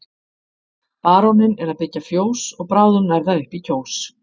Baróninn er að byggja fjós og bráðum nær það upp í Kjós.